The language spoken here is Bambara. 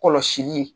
Kɔlɔsili